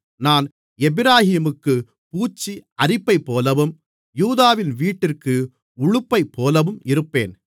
நான் எப்பிராயீமுக்குப் பூச்சி அரிப்பைப்போலவும் யூதாவின் வீட்டிற்கு உளுப்பைப்போலவும் இருப்பேன்